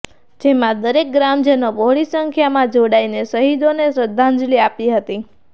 જેમાં દરેક ગ્રામજનો બહોળી સંખ્યામાં જોડાઈને શહીદોને શ્રદ્ધાંજલી આપી હતી